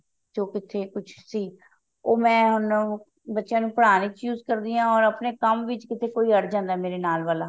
ਜੋ ਕਿਤੇ ਕੁਛ ਸੀ ਉਹ ਮੈਂ ਹੁਣ ਬੱਚਿਆਂ ਨੂੰ ਪੜ੍ਹਾਉਣ ਵਿੱਚ use ਕਰਦੀ ਹਾਂ ਅਤੇ ਕੋਈ ਕੰਮ ਵਿੱਚ ਅੜ ਜਾਂਦਾ ਮੇਰੇ ਨਾਲ ਵਾਲਾ